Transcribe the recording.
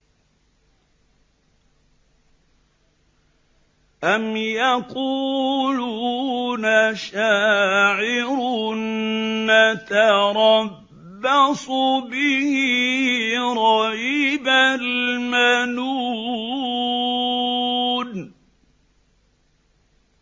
أَمْ يَقُولُونَ شَاعِرٌ نَّتَرَبَّصُ بِهِ رَيْبَ الْمَنُونِ